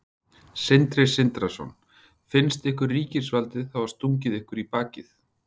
Sindri Sindrason: Finnst ykkur ríkisvaldið hafa stungið ykkur í bakið?